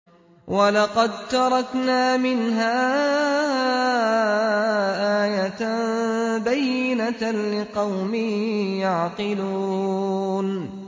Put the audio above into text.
وَلَقَد تَّرَكْنَا مِنْهَا آيَةً بَيِّنَةً لِّقَوْمٍ يَعْقِلُونَ